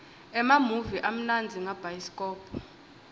emamuvi amnandza ngabhayisikobho